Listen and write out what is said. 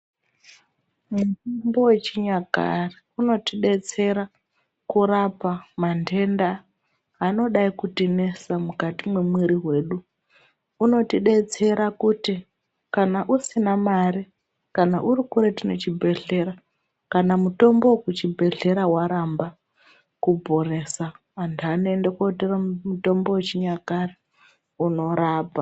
Mitombo yechinyakare inotodetsera kurapa mandenda anodai kutinesa mukati mwemwiri wedu ,unotidetsera kuti kana usina mare , kana urikuretu ngachibhedhlera , kana mutombo wekuchibhedhlera waramba kuporesa antu anoende kotora mutombo wechinyakare inorapa.